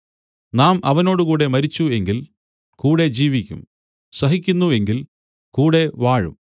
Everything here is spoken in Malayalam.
നാം അവനോടുകൂടെ മരിച്ചു എങ്കിൽ കൂടെ ജീവിക്കും സഹിക്കുന്നു എങ്കിൽ കൂടെ വാഴും